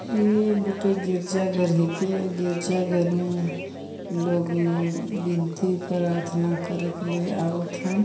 ये गोटे गिरजा घर हे के गिरजा घर में लोग मन विनती प्रार्थना करे के लिए आवत है।